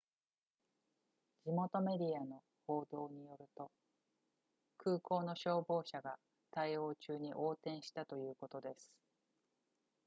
地元メディアの報道によると空港の消防車が対応中に横転したということです